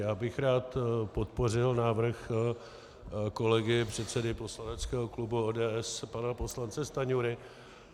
Já bych rád podpořil návrh kolegy, předsedy poslaneckého klubu ODS pana poslance Stanjury.